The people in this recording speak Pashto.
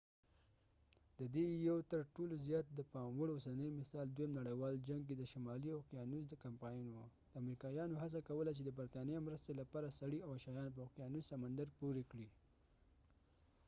د دې یو تر ټولو زیات د پام وړ اوسنی مثال دویم نړیوال جنګ کې د شمالي اوقیانوس کمپاین و امریکایانو هڅه کوله چې د برطانیه مرستې لپاره سړي او شیان په اوقیانوس سمندر پورې کړي